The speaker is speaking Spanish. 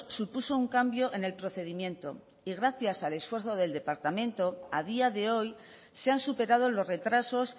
supuso un cambio en el procedimiento y gracias al esfuerzo del departamento a día de hoy se han superado los retrasos